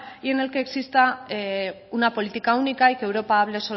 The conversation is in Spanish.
y en el que exista una política única y que europa hable